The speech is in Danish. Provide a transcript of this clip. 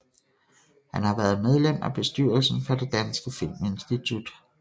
Han har været medlem af bestyrelsen for Det danske Filminstitut